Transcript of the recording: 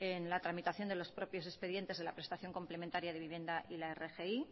en la tramitación de los propios expedientes de la prestación complementaria de vivienda y la rgi